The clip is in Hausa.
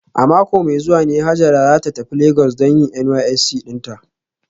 A mako mai zuwa ne Hajara za ta tafi Legas don yin NYSC dinta